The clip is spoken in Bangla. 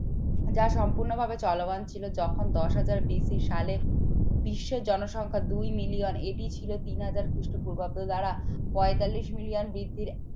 যা সম্পূর্ণভাবে চলমান ছিল। যখন দশ হাজার BC সালে বিশ্বের জনসংখ্যা দুই মিলিয়ন এটি ছিল তিন হাজার খ্রিস্টপূর্বাব্দ দ্বারা পঁয়তাল্লিশ মিলিয়ন বৃদ্ধির এক